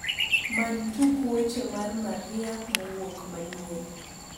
many tuk weche mar maria mouk manyien